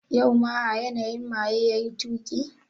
Yau ma a yanayi maye yayi tuki?